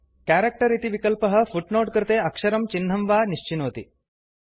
character इति विकल्पः footnote कृते अक्षरं चिह्नं वा निश्चिनोति